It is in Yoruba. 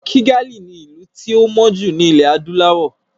Kìgalì ( Kigali) ni ìlú tí ó mọ́ jù ní ilẹ̀ Adúláwọ̀.